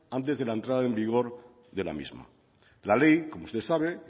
antes de la entrada en vigor de la misma la ley como usted sabe